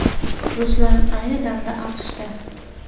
Ruslan ayni damda AQShda.